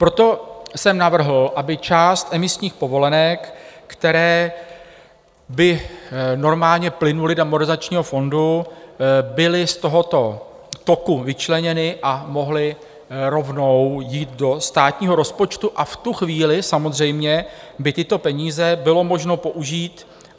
Proto jsem navrhl, aby část emisních povolenek, které by normálně plynuly do Modernizačního fondu, byly z tohoto toku vyčleněny a mohly rovnou jít do státního rozpočtu, a v tu chvíli samozřejmě by tyto peníze bylo možno použít.